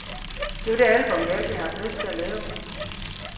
Det var det album, vi altid havde haft lyst til at lave.